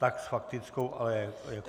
Tak s faktickou, ale jako třetí.